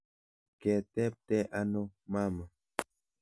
Ketebte ano mama?